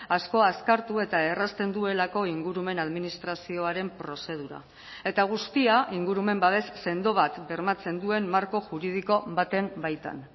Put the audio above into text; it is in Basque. asko azkartu eta errazten duelako ingurumen administrazioaren prozedura eta guztia ingurumen babes sendo bat bermatzen duen marko juridiko baten baitan